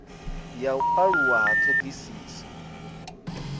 ya u aluwa ha ṱhoḓisiso